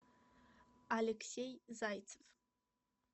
алексей зайцев